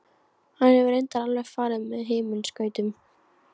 Hann hefur reyndar alveg farið með himinskautum.